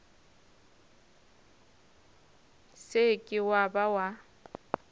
se ke wa ba wa